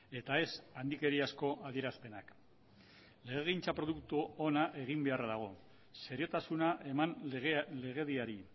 eta ez handikeriazko adierazpenak legegintza produktu ona egin beharra dago seriotasuna eman legediari